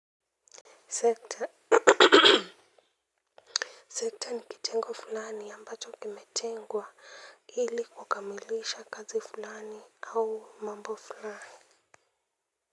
Sekta ni kitengo fulani ambacho kimetengwa ili kukamilisha kazi fulani au mambo fulani.